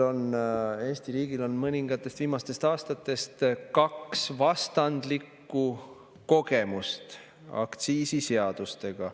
Eesti riigil on mõningatest viimastest aastatest kaks vastandlikku kogemust aktsiisiseadustega.